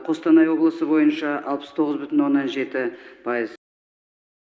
қостанай облысы бойынша алпыс тоғыз бүтін оннан жеті пайыз